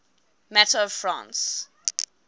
matter of france